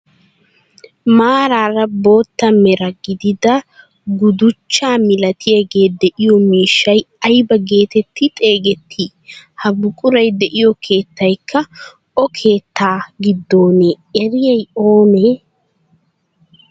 Maarara bootta mera gidida guduchchaa milatiyaagee de'iyoo miishshay ayba getetti xeegettii? Ha buquray de'iyoo keettaykka o keettaa gidoonee ereiyay oonee?